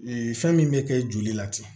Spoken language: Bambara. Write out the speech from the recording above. fɛn min bɛ kɛ joli la ten